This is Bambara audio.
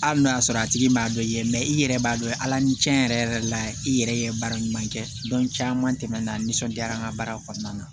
Hali n'o y'a sɔrɔ a tigi m'a dɔn i ye i yɛrɛ b'a dɔn ala ni cɛn yɛrɛ yɛrɛ la i yɛrɛ ye baara ɲuman kɛ caman tɛmɛna nisɔndiya an ka baara kɔnɔna na